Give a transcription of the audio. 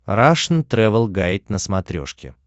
рашн тревел гайд на смотрешке